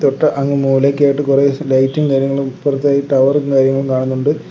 ഒരു അങ്ങു മൂലക്കായിട്ട് കുറെ ലൈറ്റും കാര്യങ്ങളും ഇപ്പുറത്തായി ടവറും കാര്യങ്ങളും കാണുന്നുണ്ട്.